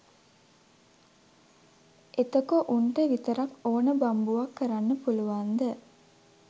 එතකො උන්ට විතරක් ඹ්න බම්බුවක් කරන්න පුලුවන්ද?